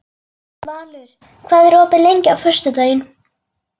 Valur, hvað er opið lengi á föstudaginn?